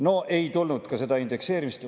" No ei tulnud ka seda indekseerimist.